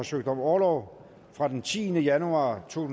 søgt om orlov fra den tiende januar to